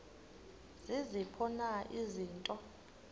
ziziphi na izinto